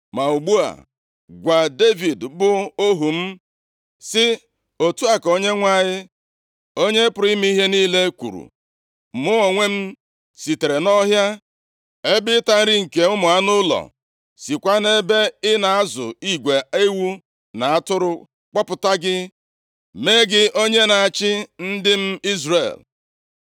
“Ma ugbu a, gwa Devid bụ ohu m, sị, ‘Otu a ka Onyenwe anyị, Onye pụrụ ime ihe niile kwuru: Mụ onwe m sitere nʼọhịa ebe ịta nri nke ụmụ anụ ụlọ, sikwa nʼebe ị na-azụ igwe ewu na atụrụ kpọpụta gị. Mee gị onye na-achị ndị m Izrel.